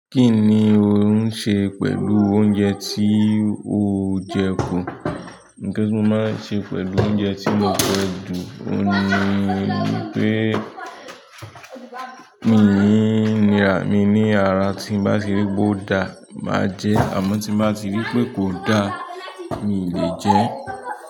Kí ni ò ń ṣe pẹ̀lú oúnjẹ tí o jẹ kù? Nǹkan tí mo máa ń ṣe pẹ̀lú oúnjẹ tí mo jẹ kù, òun ni pé mi ní, mi ní ara tí bá ti rí pé ó dáa, màá jẹ ẹ́ àmọ́ tí bá ti rí pé kò dáa mi lè jẹ ẹ́.